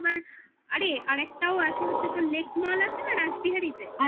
আরে আর একটাও আছে হচ্ছে তোর lake mall আছে না রাসবিহারীতে?